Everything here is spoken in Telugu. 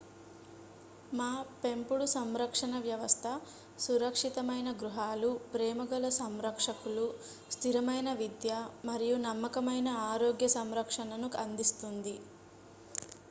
మా పెంపుడు సంరక్షణ వ్యవస్థ సురక్షితమైన గృహాలు ప్రేమగల సంరక్షకులు స్థిరమైన విద్య మరియు నమ్మకమైన ఆరోగ్య సంరక్షణను అందిస్తుంది